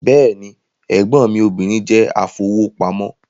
Bẹ́ẹ̀ni, ẹ̀gbọ́n mí obìnrin jẹ́ afowópamọ́